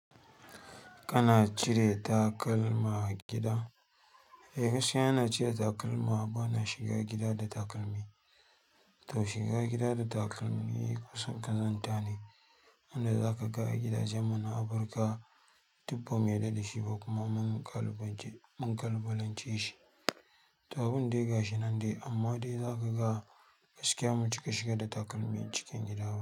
Kana cire takal ma agida? Eh, gaskiya ina cire takalma. Bana shiga gida da takalmi. To shiga gida da takalmi kusan ƙazanta ne, inda zaka ga gidajen mu na Afirka duk ba mu yarda da shi ba kuma mun. Mun kalubalance shi. To abin dai gashi nan dai, amma dai zaka ga gaskiya bamu cika shiga da takalmi cikin gida ba.